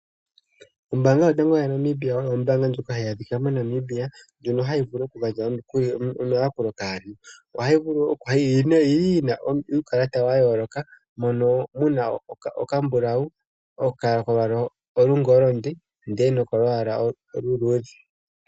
Ombaanga Yotango Yopashigwana oyo ombaanga ndjoka hayi adhika moNamibia ndjono hayi vulu okugandja omayakulo kaantu. Ohayi vulu okukala yi na uukalata wa yooloka, moka mu na okambulau, kolwaala lwoshingoli nokolwaala oluluudhe.